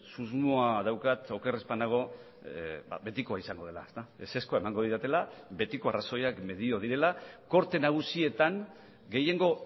susmoa daukat oker ez banago betikoa izango dela ezezkoa emango didatela betikoa arrazoiak medio direla gorte nagusietan gehiengo